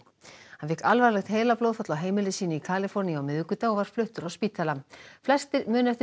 hann fékk alvarlegt heilablóðfall á heimili sínu í Kaliforníu á miðvikudag og var fluttur á spítala flestir muna eftir